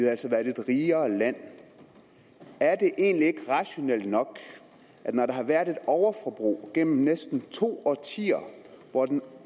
altså været et rigere land er det egentlig ikke rationelt nok når der har været et overforbrug gennem næsten to årtier hvor den